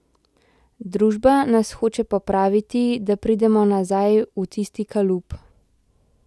Družba nas hoče popraviti, da pridemo nazaj v tisti kalup.